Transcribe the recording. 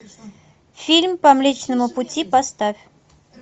фильм по млечному пути поставь